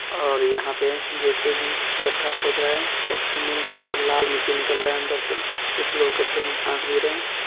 और यहा पे जे.सी.भी. गड्ढा खोद रहा है गड्ढे में थोड़ा लाल मिट्टी निकल रहा है अंदर से कुछ लोग गड्ढे में झाक भी रहे है।